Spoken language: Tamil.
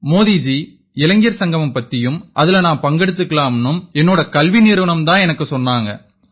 மோதி ஜி இளைஞர் சங்கமம் பத்தியும் அதில நான் பங்கெடுத்துக்கலாம்னும் என்னோட கல்வி நிறுவனம் தான் எனக்கு சொன்னாங்க